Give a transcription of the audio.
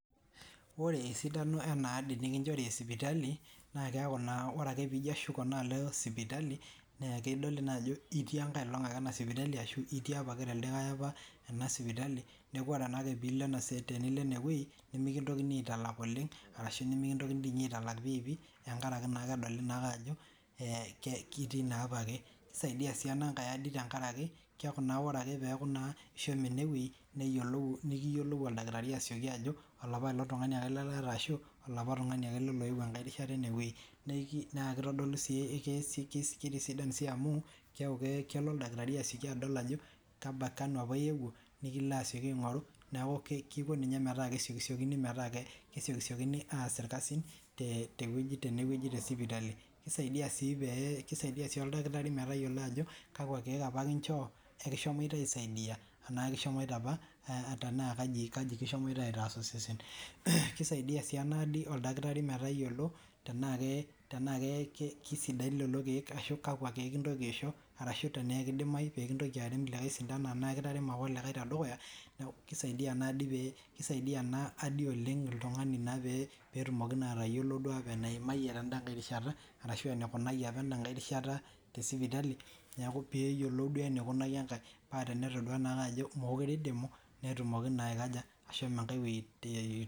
Ore sidano ena adii nikinchori esipitali naa keaki naa ore ake piijo ashuko naa alo sipitali naa kedoli naa ajoo itii enkae olong ake ena sipitali arashu itii apa ake teldo like apa ena sipitali neeku ore naa ake piilo enewei nemeikintiokini aitalak oleng arashu mekintokini dii nye aitalak pii pii tenkaraki naa kedoli naa akee ajo itii naa apa ake keisaidia sii enankae ardii tenkaraki keeku naa ore ake peyaku naa ishomo ene wei nikiyiolou oldakitari asioki ajo olapaelong tung'ani ake ele arashu olapa tungani apa ake elee oyuwuo enkae rishata ene wei naa keitodolu sii keitisidan sii amuu keyaku kelo oldakitari asioki adol ajo kanu apa iyewuo nikilo asioki aing'oru neeku keko ninye metaa kesiokisiokini aas irkasin teweji te sipitali keisaidia sii pee asho oldakitari metayiolo ajo kakua kieek apa kinchoo lekishomoita aisaidia enaa ekishomoita apa tenaa kajo kishomoita aitaas osesen keisadia sii ena adii oldakitari metayiolo tenaa keisidain lelo kiek tenaa kakua kiek kintoiki aisho arashuu tenaa keidimayu miintoki arem ikae sintano tenaa kitaremo aa likae tee dukuya neeku keisaidia naa ina ardi oleng oltung'ani naa peetumoki naa atayiolo naa duo apa eneimayie tenda nkae rishata arashu aa eneikunayie apa enda nkae rishata tesipitali neeku peeyiolou duo enekunaki enkae paa tenetodua naa ake aje mekure eidimu netumokii naa ashomo enkae weji.